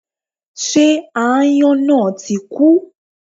Ṣé aáyọ́n náà tí kú?